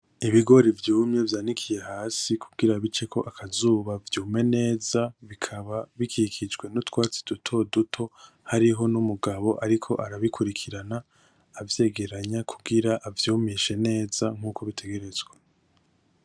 Ibigori vyumye vyanikiye hasi kugira biceko akazuba vyume neza bikaba bikikijwe n'utwatsi dutoduto, hariho n'umugabo ariko arabikurikirana avyegeranya kugira avyumishe neza nkuko bitegerezwa.